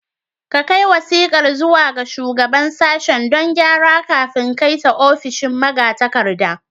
A kai wasiƙar zuwa ga Shugaban Sashen don gyara kafin kai ta ofishin magatakarda.